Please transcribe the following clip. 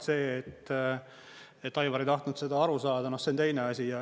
See, et Aivar ei tahtnud seda aru saada, see on teine asi.